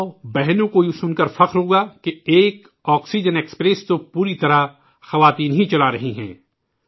ماؤں بہنوں کو یہ سن کر فخر ہوگا کہ ایک آکسیجن ایکسپریس تو پوری طرح مہیلائیں ہی چلا رہی ہیں